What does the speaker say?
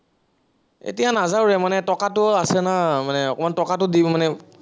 এতিয়া নাযাওঁ ৰে, মানে টকাটো আছে না, মানে অকনমান টকাতো দিও মানে